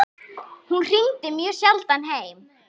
Hún hringdi mjög sjaldan heim.